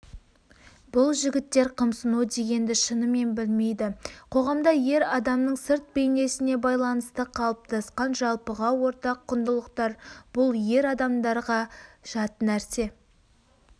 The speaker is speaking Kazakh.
бұл жігіттер қымсынудегенді шынымен білмейді қоғамда ер адамның сырт бейнесіне байланысты қалыптасқан жалпыға ортақ құндылықтар бұл ер адамдарға жатнәрсе